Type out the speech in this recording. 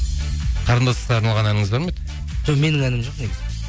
қарындасқа арналған әніңіз бар ма еді жоқ менің әнім жоқ негізі